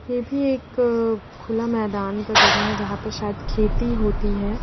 ये भी एक खुला मैदान का जगह है जहाँ पे शायद खेती होती है।